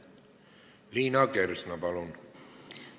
Liina Kersna, palun!